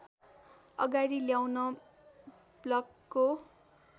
अगाडि ल्याउन ब्लकको